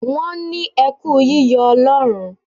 Wọ́n ní ẹ kú yíyọ Ọlọ́run.